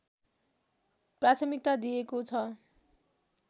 प्राथमिकता दिइएको छ